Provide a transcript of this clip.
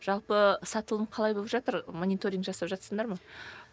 жалпы сатылым қалай болып жатыр мониторинг жасап жатырсыңдар ма